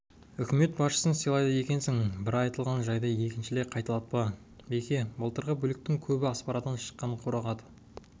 үкімет басшысын сыйлайды екенсің бір айтылған жайды екіншілей қайталатпа беке былтырғы бүліктің көбі аспарадан шыққан қорағаты